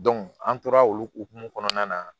an tora olu hokumu kɔnɔna na